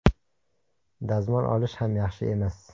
Dazmol olishi ham yaxshi emas.